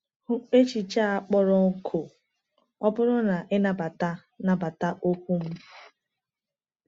Hụ echiche a kpọrọ nkọ “ọ bụrụ na i nabata nabata okwu m.”